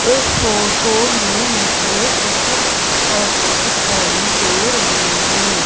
इस फोटो में मुझे कुछ ऑटो दिखाई दे रहे हैं।